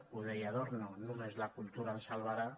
ho deia adorno només la cultura ens salvarà